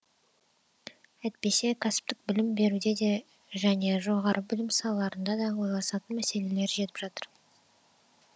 әйтпесе кәсіптік білім беруде де және жоғары білім салаларында да ойласатын мәселелер жетіп жатыр